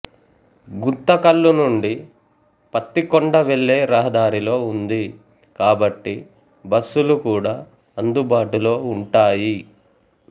గుంతకల్లు నుండి పత్తికొండ వెళ్ళే రహదారిలో ఉంది కాబట్టి బస్సులు కూడా అందుబాటులో ఉంటాయి